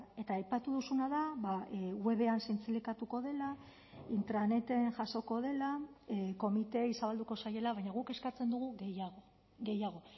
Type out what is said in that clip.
eta aipatu duzuna da webean zintzilikatuko dela intraneten jasoko dela komiteei zabalduko zaiela baina guk eskatzen dugu gehiago gehiago